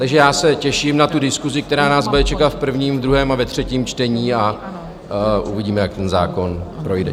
Takže já se těším na tu diskusi, která nás bude čekat v prvním, v druhém a ve třetím čtení a uvidíme, jak ten zákon projde.